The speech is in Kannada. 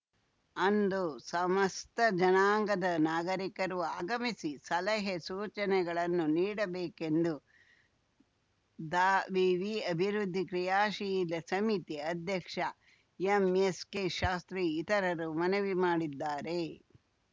ಅಂದು ಸಮಸ್ತ ಜನಾಂಗದ ನಾಗರೀಕರು ಆಗಮಿಸಿ ಸಲಹೆಸೂಚನೆಗಳನ್ನು ನೀಡಬೇಕೆಂದು ದಾವಿವಿ ಅಭಿವೃದ್ಧಿ ಕ್ರಿಯಾಶೀಲ ಸಮಿತಿ ಅಧ್ಯಕ್ಷ ಎಂಎಸ್‌ಕೆ ಶಾಸ್ತ್ರಿ ಇತರರು ಮನವಿ ಮಾಡಿದ್ದಾರೆ